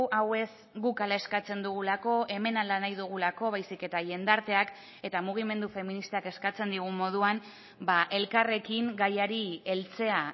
hau ez guk hala eskatzen dugulako hemen hala nahi dugulako baizik eta jendarteak eta mugimendu feministak eskatzen digun moduan elkarrekin gaiari heltzea